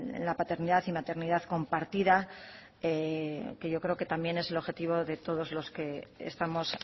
en la paternidad y maternidad compartida que yo creo que también es el objetivo de todos los que estamos